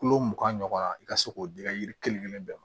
Kulo mugan ɲɔgɔnna i ka se k'o d'i ka yiri kelen kelen bɛɛ ma